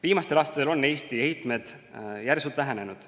Viimastel aastatel on Eesti heitmed järsult vähenenud.